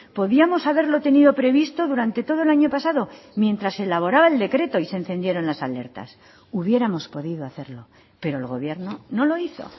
podíamos haberlo tenido previsto durante todo el año pasado mientras se elaboraba el decreto y se encendieron las alertas hubiéramos podido hacerlo pero el gobierno no lo hizo